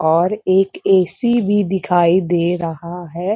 और एक ए.सी भी दिखाई दे रहा है।